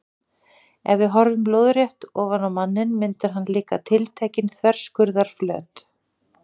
Ef við horfum lóðrétt ofan á manninn myndar hann líka tiltekinn þverskurðarflöt.